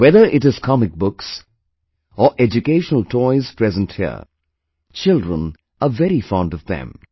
Whether it is comic books or educational toys present here, children are very fond of them